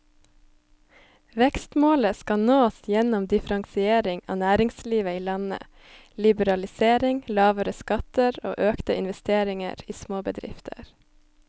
Vekstmålet skal nås gjennom differensiering av næringslivet i landet, liberalisering, lavere skatter og økte investeringer i småbedrifter.